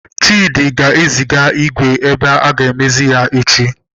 Chidi ga-eziga igwe ebe aga amezie echi.